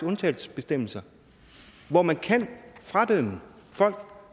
undtagelsesbestemmelser hvor man kan fradømme folk